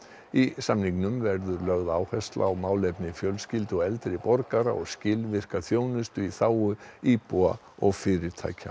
í samningnum verður lögð áhersla á málefni fjölskyldu og eldri borgara og skilvirka þjónustu í þágu íbúa og fyrirtækja